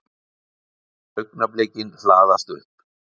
Augnablikin hlaðast upp.